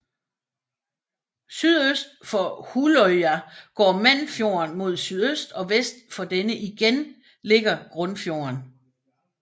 Sydøst for Hulløya går Mannfjorden mod sydøst og vest for denne igen ligger Grunnfjorden